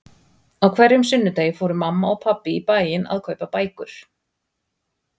Á hverjum sunnudegi fóru mamma og pabbi í bæinn að kaupa bækur.